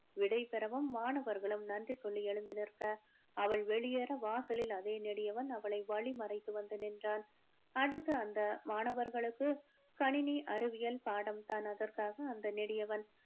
விடை பெறவும் மாணவர்களும் நன்றி சொல்லி எழுந்து நிற்க அவள் வெளியேற வாசலில் அதே நெடியவன் அவளை வழி மறைத்து வந்து நின்றான் அடுத்த அந்த மாணவர்களுக்கு கணினி அறிவியல் பாடம் தான் அதற்காக அந்த நெடியவன்